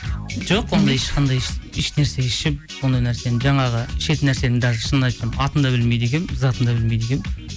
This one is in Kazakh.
жоқ ондай ешқандай ешнәрсе ішіп ондай нәрсені жаңағы ішетін нәрсенің даже шынын айтсам атын да білмейді екенмін затын да білмейді екенмін